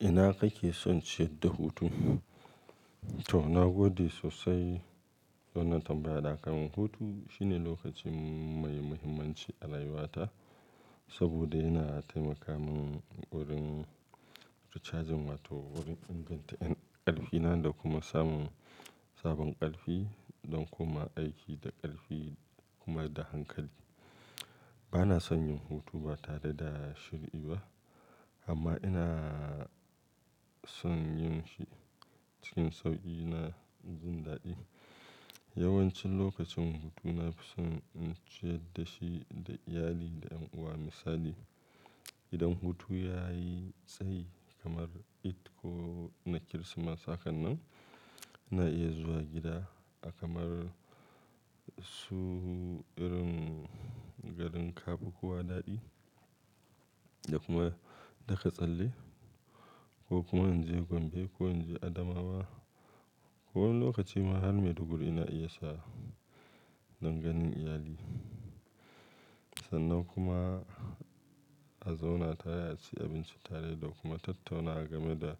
Ina kake son ciyad da hutu? To, na gode sosai don tambaya da kai man. Hutu shine lokacin mai muhimmanci a rayuwata saboda yana taimaka min wurin recharging wato wurin inganta ƙarfina da kuma samun sabon ƙarfi don kuma aiki da ƙarfi kuma da hankali. Bana son yin hutu ba tare da shir, i ba amma ina son yin shi cikin sauƙi na jin daɗi. Yawanci lokacin hutu na fi son in ciyad da shi da iyali da ƴan uwa. Misali, idan hutu ya yi tsayi kamar Eid ko na Kirsimeti, hakan nan ina iya zuwa gida a kamar su irin garin Kabo ko Wadaɗi da kuma Daka Tsalle ko kuma in je Gombe ko in je Adamawa. Ko wani lokaci ma har Maiduguri ina iya sha don ganin iyali. Sannan kuma a zauna tare, a ci abinci tare da kuma tattaunawa game da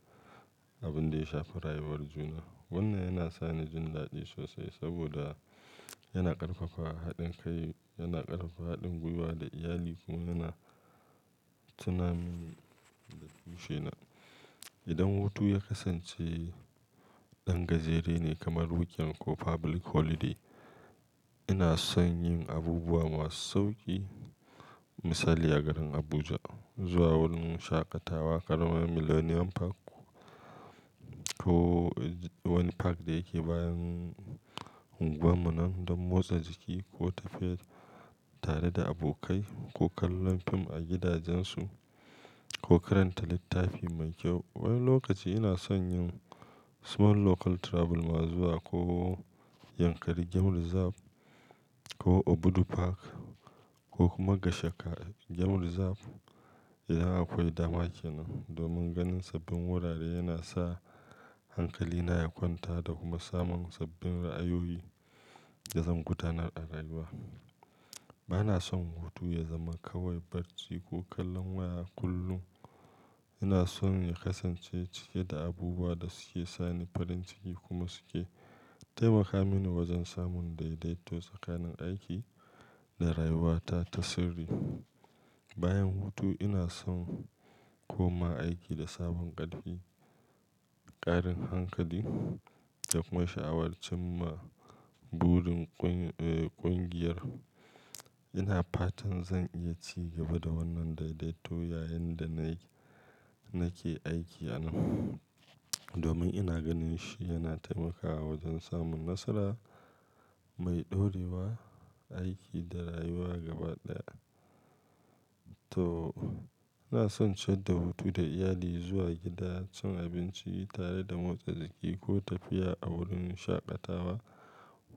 abin da ya shafi rayuwar juna. Wannan yana sa ni jin daɗi sosai saboda yana ƙarfafa haɗin kai, yana ƙarfafa haɗin gwiwa da iyali kuma yana tunamin da bishe nan. Idan hutu ya kasance ɗan gajere ne kamar weekend ko public holiday, ina son yin abubuwa masu sauƙi. Misali a garin Abuja, zuwa wurin shaƙatawa kamar Millennium Park ko wani park da yake bayan ugwanmu nan don motsa jiki ko tafiye tare da abokai ko kallon fim a gidajensu ko karanta littafi mai kyau. Wani lokaci ina son yin small local travel ma zuwa ko Yankari Game Reserve ko Obudu Park ko kuma Gashaka Game Reserve idan akwai dama kenan. Domin ganin sabbin wurare yana sa hankalina ya kwanta da kuma samun sabbin ra'ayoyi da zan gudanar a rayuwa. Bana son hutu ya zama kawai barci ko kallon waya kullum. Ina son ya kasance cike da abubuwa da suke sa ni farin ciki kuma suke taimaka mini wajen samun daidaito tsakanin aiki da rayuwata ta sirri. Bayan hutu ina son koma aiki da sabon ƙarfi, ƙarin hankali da kuma sha'awar cimma burin kun ehh ƙungiyar. Ina fatan zan iya ci gaba da wannan daidaito yayin da nai nake aiki a nan domin ina ganin shi yana taimakawa wajen samun nasara mai ɗorewa aiki da rayuwa gaba ɗaya. To, ina son ciyad da hutu da iyali, zuwa gida, cin abinci tare da motsa jiki ko tafiya a wurin shaƙatawa.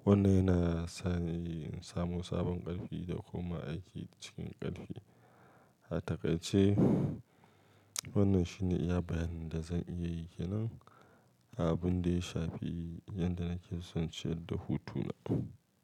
Wannan yana sa ni in samu sabon ƙarfi da kuma aiki cikin ƙarfi. A takai ce wannan shine iya bayanin da zan iya yi kenan abin da ya shafi yadda nake son ciyad da hutuna.